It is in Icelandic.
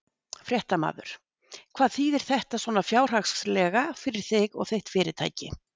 Fréttamaður: Hvað þýðir þetta svona fjárhagslega fyrir þig og þitt fyrirtæki?